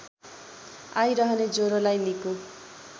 आइरहने ज्वरोलाई निको